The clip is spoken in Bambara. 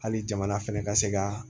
Hali jamana fɛnɛ ka se ka